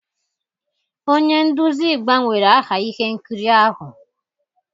Onye nduzi gbanwere aha ihe nkiri ahụ